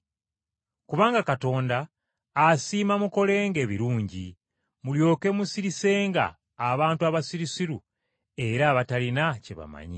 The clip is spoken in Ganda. Kubanga Katonda asiima mukolenga ebirungi, mulyoke musirisenga abantu abasirusiru era abatalina kye bamanyi.